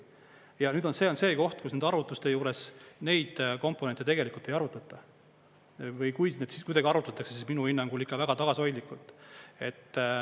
Ja nüüd see on see koht, kus nende arvutuste juures neid komponente tegelikult ei arvutata või kui siis kuidagi arvutatakse, siis minu hinnangul ikka väga tagasihoidlikult.